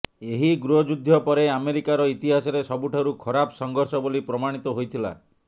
ଏହି ଗୃହଯୁଦ୍ଧ ପରେ ଆମେରିକାର ଇତିହାସରେ ସବୁଠାରୁ ଖରାପ ସଂଘର୍ଷ ବୋଲି ପ୍ରମାଣିତ ହୋଇଥିଲା